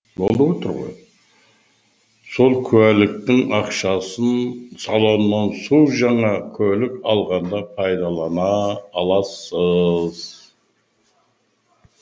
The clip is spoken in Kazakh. сол куәліктің ақшасын салоннан су жаңа көлік алғанда пайдалана аласыз